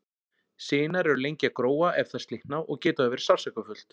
Sinar eru lengi að gróa ef þær slitna og getur það verið sársaukafullt.